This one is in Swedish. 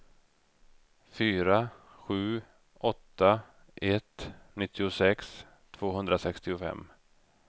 fyra sju åtta ett nittiosex tvåhundrasextiofem